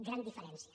gran diferència